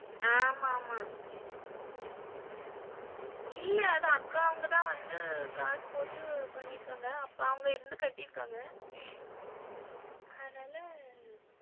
ஆமா ஆமா இல்ல அது அக்காவுங்க தான் வந்து காசு போட்டு பண்ணிருக்காங்க, அப்பாவங்க இருந்து கட்டிருக்காங்க அதுனால,